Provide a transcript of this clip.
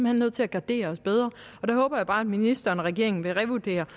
hen nødt til at gardere os bedre og der håber jeg bare at ministeren og regeringen vil revurdere